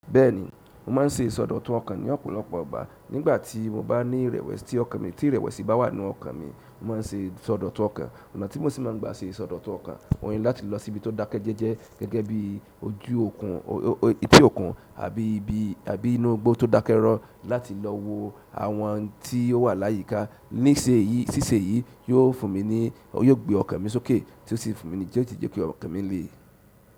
Bẹ́ẹ̀ni, mo má ń ṣe ìsọdọ̀tun ọkàn ní ọ̀pọ̀lọpọ̀ ìgbà. Nígbà tí mo bá ní ìrẹ̀wẹ̀sì tí ọkàn mi, tí ìrẹ̀wẹ̀sì bá wà n'nú ọkàn mi, mo má ń ṣe ìsọdọ̀tun ọkàn. Ọ̀nà tí mo sì má ń gbà ṣe ìsọdọ̀tun ọkàn o ní láti lọ síbi tó dákẹ́ jẹ́jẹ́ gẹ́gẹ́ bí ojú okùn, etí òkun àbí ibi, àbí inú igbó tó dákẹ́ rọ́ láti lọ wo àwọn n'tí o wà láyíká. Níṣe èyí, ṣíṣe èyí, yiò fún mi ní, yóò gbé ọkàn mi sókè tí ó sì fún mi ní ti o si jẹ́ kí ọkàn mi le.